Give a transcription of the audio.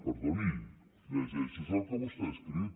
perdoni llegeixi’s el que vostè ha escrit